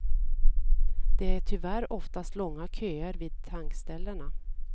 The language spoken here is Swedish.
Det är tyvärr oftast långa köer vid tankställena.